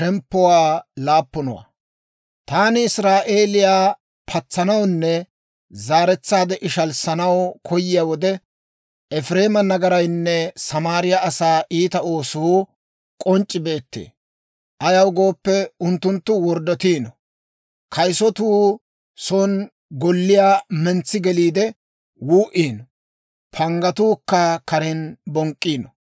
«Taani Israa'eeliyaa patsanawunne zaaretsaade ishalissanaw koyiyaa wode, Efireema nagaraynne Samaariyaa asaa iita oosuu k'onc'c'i beettee. Ayaw gooppe, unttunttu worddotiino; kayisatuu son golliyaa mentsi geliide wuu"iino; panggatuukka karen bonk'k'iino.